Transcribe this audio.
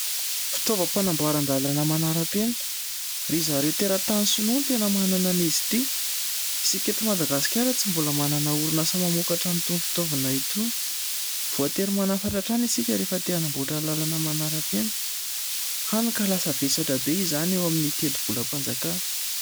Fitaovam-panamboaran-dalana manara-penitra. Ry zareo teratany sonoa ny tena manana an' izy ity. Isika eto Madagasikara tsy mbola manana orinasa mamokatra an' itony fitaovana itony. Voatery manafatra hatrany isika rehefa te hanamboatra lalana manaram-peno. Hany ka lasa vesatra be izany eo amin'ny teti-bola-panjakana.